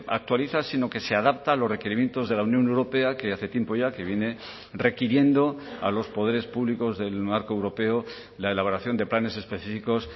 actualiza sino que se adapta a los requerimientos de la unión europea que hace tiempo ya que viene requiriendo a los poderes públicos del marco europeo la elaboración de planes específicos